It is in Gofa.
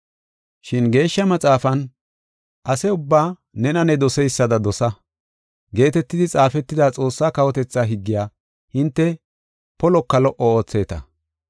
Shin Geeshsha Maxaafan, “Ase ubbaa nena ne doseysada dosa” geetetidi xaafetida Xoossaa kawotethaa higgiya hinte poliko lo77o ootheeta.